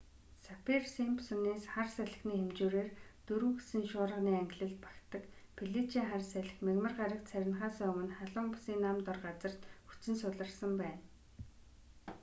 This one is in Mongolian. саффир-симпсоны хар салхины хэмжүүрээр 4 гэсэн шуурганы ангилалд багтдаг феличиа хар салхи мягмар гарагт сарнихаасаа өмнө халуун бүсийн нам дор газарт хүч нь суларсан байна